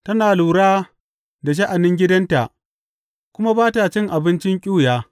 Tana lura da sha’anin gidanta kuma ba ta cin abincin ƙyuya.